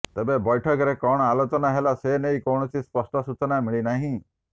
ତେବେ ବୈଠକରେ କଣ ଆଲୋଚନା ହେଲା ସେନେଇ କୌଣସି ସ୍ପଷ୍ଟ ସୂଚନା ମିଳିନାହିଁ